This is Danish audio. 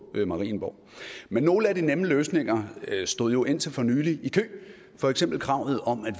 marienborg men nogle af de nemme løsninger stod jo indtil for nylig i kø for eksempel kravet om at